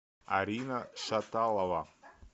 арина шаталова